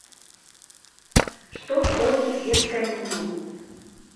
что входит в детское меню